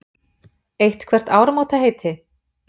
Eitthvert áramótaheiti?